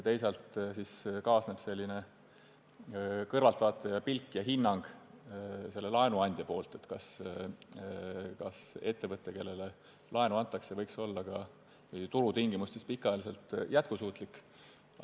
Teisalt kaasnevad laenuandja kui kõrvaltvaataja pilk ja hinnang selle kohta, kas ettevõte, kellele laenu antakse, võiks olla turutingimustes pikaajaliselt jätkusuutlik.